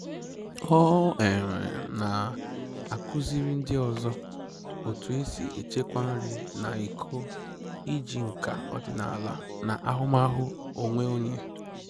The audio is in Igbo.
Ọ um na-akuziri ndị ọzọ otu e si echekwa nri na iko iji nka ọdịnaala na ahụmahụ onwe onye